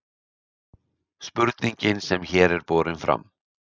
spurningin sem hér er borin fram